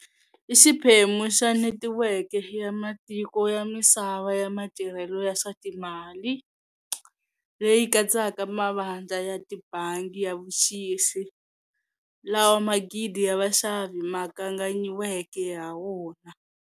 I xiphemu xa netiweke ya matiko ya misava ya matirhelo ya swa timali, leyi katsaka mavandla ya tibangi ya vuxisi, lawa magidi ya vaxavi ma kanganyiweke ha wona.